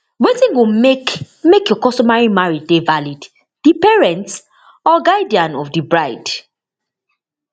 wetin go make make your customary marriage dey valid di parents or guardian of di bride